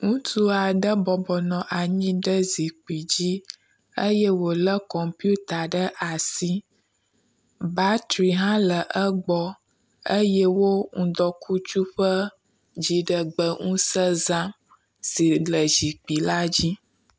Ŋutsu aɖe bɔbɔnɔ anyi ɖe zikpui ddzi eye wo le kɔmpita ɖe asi. Batri hã le egbɔ eye wo ŋdɔkutsu ƒe dziɖegbeŋuse zam si le zikpui la dzi.